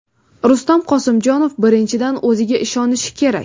Rustam Qosimjonov: Birinchidan, o‘ziga ishonishi kerak.